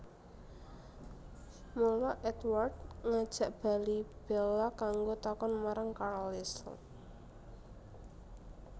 Mula Édward ngajak bali Bella kanggo takon marang Carlisle